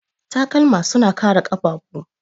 Takalma suna kare ƙafafu.